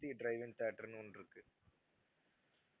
Murthy drive in theatre ன்னு ஒண்ணு இருக்கு